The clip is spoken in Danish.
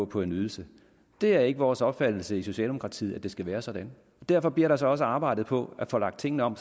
på en ydelse det er ikke vores opfattelse i socialdemokratiet at det skal være sådan derfor bliver der så også arbejdet på at få lagt tingene om